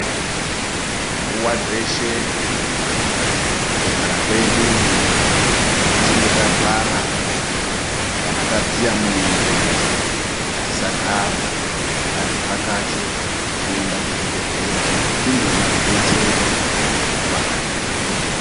Nguva dzeshe, mukugara kwedu, tichinge tarwara kana tadziya mwiri, tisagara, ngativhakache kuenda kuzvibhedhlera tindoona rudetsero rwakakwana.